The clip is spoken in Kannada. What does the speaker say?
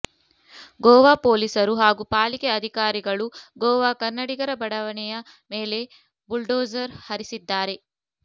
ಗೋವಾ ಪೋಲೀಸರು ಹಾಗೂ ಪಾಲಿಕೆ ಅಧಿಕಾರಿಗಳು ಗೋವಾ ಕನ್ನಡಿಗರ ಬಡಾವಣೆಯ ಮೇಲೆ ಬುಲ್ಡೋಜರ್ ಹರಿಸಿದ್ದಾರೆ